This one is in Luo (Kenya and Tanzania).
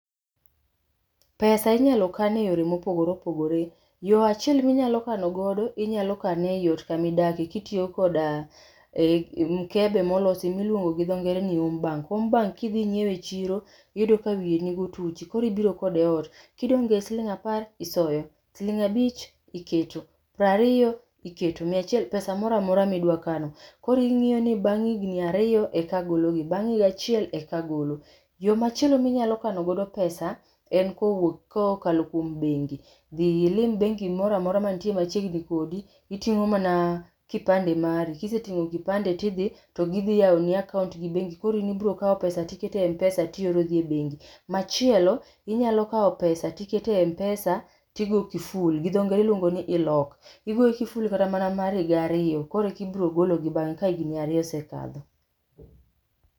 Pesa inyalo kan e yor ema opogore opogore. Yoo achiel minyal kane godo, inyalo kane e ot kama idake kitiyo koda mkebe molosi miluongo dhi dho ngere ni home bank. Home bank kinyiew e chiro iyudo ka wiye nigi otuchi koro ibiro kode ot, kidong gi siling apar, isoyo, siling abich, iketo, prariyo, iketo, mia achiel, pes amoro amora midwa kano. Koro ing'iyo ni bang higni ariyo eka agologi bang higa achiel eka agolo. Yoo machielo miny akanogo pesa en kokalo kuom bengi. Dhi ilim bengi mor amora mantie machiegni kodi, iting'o mana kipande mari. Kisetingo kipande tidhi togidhi yani akaunti gi bengi, koro in ema ibro kao pesa tiketo e Mpesa tioro dhi e bengi. Machielo inyalo kao pesa tiketo e Mpesa tigo kiful gi dho ngere iluongo ni i l ock, igo kiful kata mana mar higa ariyo koro eka ibro golo bange kat higni ariyo osekalo